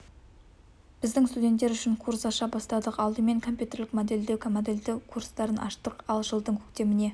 біздің студенттер үшін курс аша бастадық алдымен компьютерлік модельдеу модельдеу курстарын аштық ал жылдың көктеміне